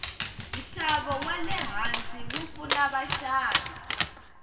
nshavo walehhansi wupfuna vashavi